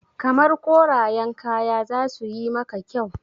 Kamar korayen kaya zasu yi maka kyau